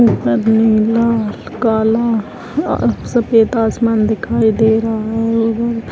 इसमें नीला काला अ सफेद आसमान दिखाई दे रहा है इधर।